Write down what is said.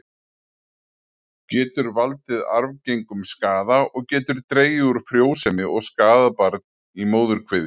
Getur valdið arfgengum skaða og getur dregið úr frjósemi og skaðað barn í móðurkviði.